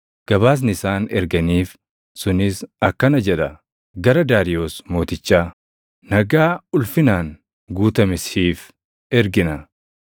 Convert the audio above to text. Gabaasni isaan erganiif sunis akkana jedha: Gara Daariyoos Mootichaa: Nagaa ulfinaan guutame siif ergina.